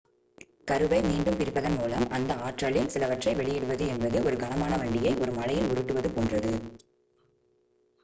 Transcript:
கருவை மீண்டும் பிரிப்பதன் மூலம் அந்த ஆற்றலில் சிலவற்றை வெளியிடுவது என்பது ஒரு கனமான வண்டியை ஒரு மலையில் உருட்டுவது போன்றது